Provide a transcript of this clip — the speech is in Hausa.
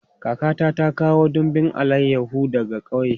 Kakata ta kawo dumbin alayahu daga ƙauye.